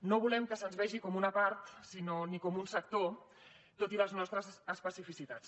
no volem que se’ns vegi com una part ni com un sector tot i les nostres especificitats